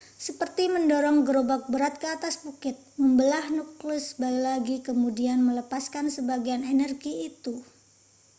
seperti mendorong gerobak berat ke atas bukit membelah nukleus lagi kemudian melepaskan sebagian energi itu